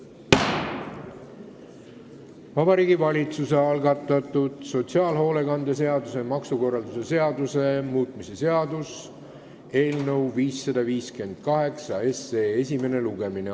Vabariigi Valitsuse algatatud sotsiaalhoolekande seaduse ja maksukorralduse seaduse muutmise seaduse eelnõu 558 esimene lugemine.